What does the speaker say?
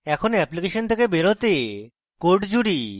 এখন অ্যাপ্লিকেশন থেকে বেরোতে code জুড়ি